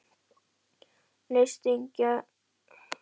Lystisnekkjan var lengra úti fyrir en honum hafði sýnst.